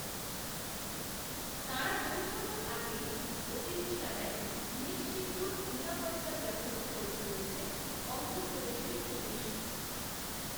তাঁরা পৌঁছনোর আগেই, অতিথিশালায়, নিশ্ছিদ্র নিরাপত্তার ব্যবস্থা করে ফেলেছে, অন্ধ্রপ্রদেশের পুলিশ